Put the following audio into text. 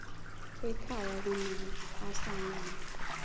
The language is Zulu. ekhaya kumele asayiniwe